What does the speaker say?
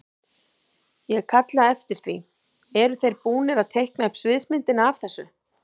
Ég kalla eftir því, eru þeir búnir að teikna upp sviðsmyndina af þessu?